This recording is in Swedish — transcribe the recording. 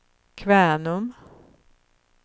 Kvänum